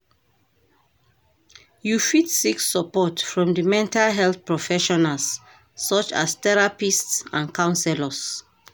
You fit seek support from di mental health professionals such as therapists and counselors.